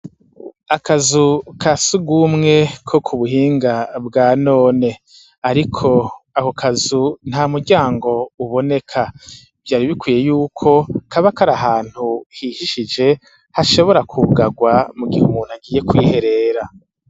Akazu ka sii ugumwe ko ku buhinga bwa none, ariko ako kazu nta muryango uboneka vyari bikwiye yuko kabakari ahantu hihishije hashobora kuugagwa mu gihe umuntu akiye kwiherera.